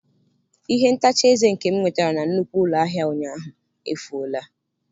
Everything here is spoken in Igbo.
Ihe ntacha eze nke m nwetara na nnukwu ụlọ ahịa ụnyaahụ, efuola.